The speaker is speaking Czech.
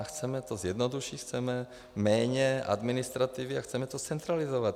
A chceme to zjednodušit, chceme méně administrativy a chceme to zcentralizovat.